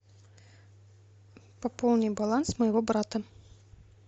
пополни баланс моего брата